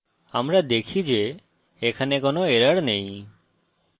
আমরা দেখি যে এখানে কোনো error নেই